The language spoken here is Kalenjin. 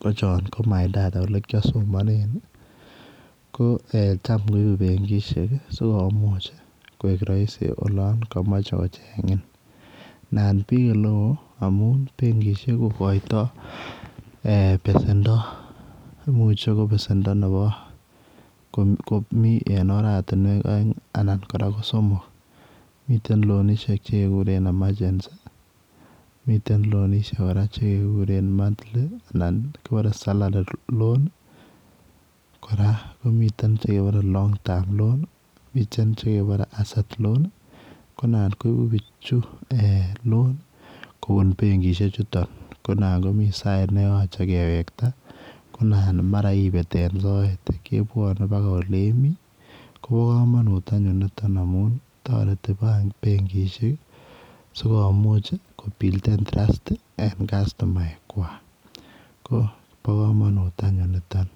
ko choon ko[my data] ole kiasomanet tam koibet benkishek sikomuuch koek Rahisi olaan kamache kochengiing naan biik ole wooh amuun benkishek ko koitoo besendo imuche ko besendo komii en oratinweek aeng anan kora ko somok miten loanishek chekekureen [emergency] miten loanishek chekebare [monthly] anan kibaren [salary loan ] kora komiteen chekebare [Long term loan] miten chekebare [asset loan] konaan koibuu bichutoon loan kobuun benkishek chutoon naan komiteen sait nekemachei kewektai kebwane paka ole Mii ii ko bo kamanut anyuun nitoon amuun taretii benkishek sikomuuch ko builden [trust] ii en customaek kwak ko bo kamanut anyuun nitoon.